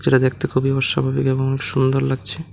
এটা দেখতে খুবই অস্বাভাবিক এবং সুন্দর লাগছে।